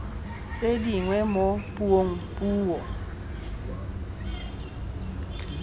tse dingwe mo puong puo